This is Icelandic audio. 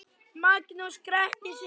Magnús gretti sig.